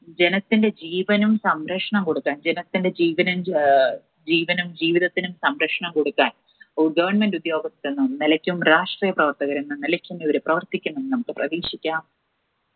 ജനത്തിന്റെ ജീവനും സംരക്ഷണം കൊടുക്കാൻ ജനത്തിന് ജീവൻ അഹ് ജീവനും ജീവിതത്തിനും സംരക്ഷണം കൊടുക്കാൻ ഗവൺമെൻറ് ഉദ്യോഗസ്ഥർ എന്ന നിലയ്ക്കും രാഷ്ട്രീയപ്രവർത്തകർ എന്ന നിലയ്ക്കും ഇവർ പ്രവർത്തിക്കുമെന്നും നമുക്ക് പ്രതീക്ഷിക്കാം.